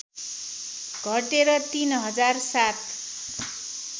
घटेर ३ हजार ७